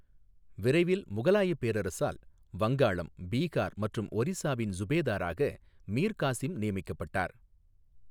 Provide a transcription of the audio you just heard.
விரைவில் முகலாயப் பேரரசரால் வங்காளம், பீகார் மற்றும் ஒரிசாவின் சுபேதராக மீர் காசிம் நியமிக்கப்பட்டார்.